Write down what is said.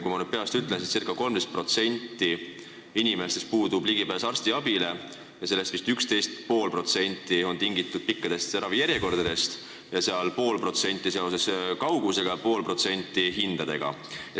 Kui ma nüüd peast õigesti ütlen, siis ca 13%-l inimestel puudub ligipääs arstiabile ja sellest vist 11,5% on tingitud pikkadest ravijärjekordadest ning pool protsenti kaugusest ja pool protsenti hindadest.